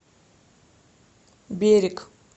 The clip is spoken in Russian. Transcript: берег